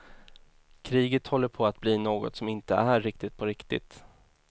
Kriget håller på att bli något som inte är riktigt på riktigt.